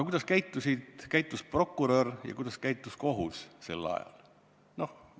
Kuidas käitus prokurör ja kuidas käitus kohus sel ajal?